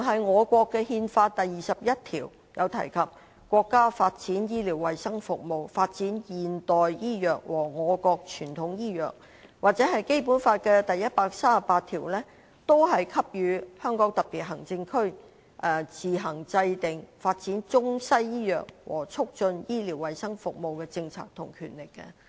我國的憲法第二十一條提到："國家發展醫療衞生事業，發展現代醫藥和我國傳統醫藥"；根據《基本法》第一百三十八條，香港特別行政區政府有自行制定發展中西醫藥和促進醫療衞生服務的政策的權力。